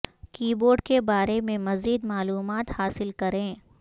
کی بورڈ کے بارے میں مزید معلومات حاصل کریں